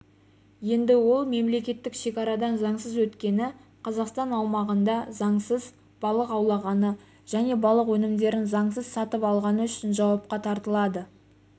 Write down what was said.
енді ол мемлекеттік шекарадан заңсыз өткені қазақстан аумағында заңсыз балық аулағаны және балық өнімдерін заңсыз сатып алғаны үшін жауапқа тартылады